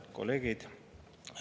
Head kolleegid!